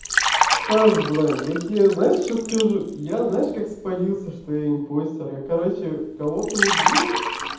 стас блин я тебе знаешь что скажу я знаешь как спалился что я импостер я короче кого-то убил